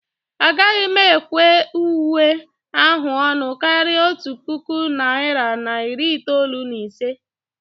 Agaghị m ekwe uwe ahụ ọnụ karịa otu puku naira na iri itoolu na ise